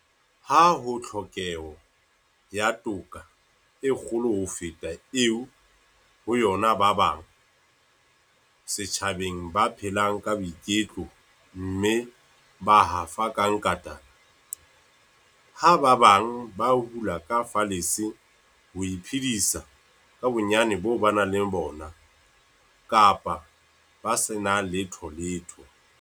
Ha ho tlhokeho ya toka e kgolo ho feta eo ho yona ba bang setjhabeng ba phelang ka boiketlo mme ba hafa ka nkatana, ha ba bang ba hula ka falese ho iphedisa ka bonyane boo ba nang le bona, kapa ba se na letholetho.